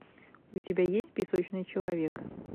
у тебя есть песочный человек